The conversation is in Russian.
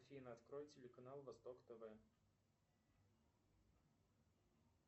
афина открой телеканал восток тв